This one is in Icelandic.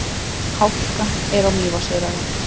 Hálka er á Mývatnsöræfum